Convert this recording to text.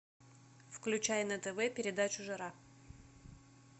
включай на тв передачу жара